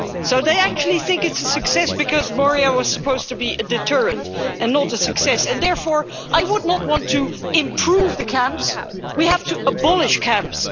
So they actually think it's a success because Moria was supposed to be a deterrent and not a success, and therefore I would not want to improve the camps, we have to abolish camps.